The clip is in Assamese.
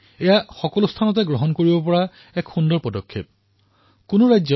এয়া এক অতিশয় সুন্দৰ পদক্ষেপ যাক সকলোৱে আঁকোৱালি লব পাৰে